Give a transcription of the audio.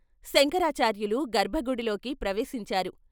శంకరాచార్యులు గర్భగుడిలోకి ప్రవేశించారు.